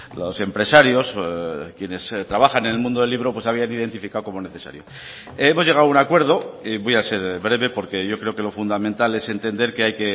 los empresarios quienes trabajan en el mundo del libro pues habían identificado como necesario hemos llegado a un acuerdo voy a ser breve porque yo creo que lo fundamental es entender que hay